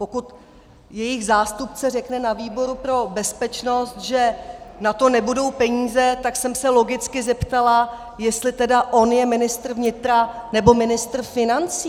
Pokud jejich zástupce řekne na výboru pro bezpečnost, že na to nebudou peníze, tak jsem se logicky zeptala, jestli tedy on je ministr vnitra, nebo ministr financí.